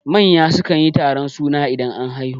Manya sukan yi taron suna idan an haihu